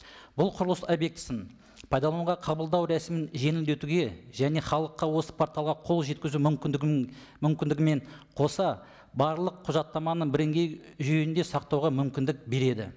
бұл құрылыс объектісін пайдалануға қабылдау рәсімін жеңілдетуге және халыққа осы порталға қол жеткізу мүмкіндігін мүмкіндігі мен қоса барлық құжаттаманы жүйеде сақтауға мүмкіндік береді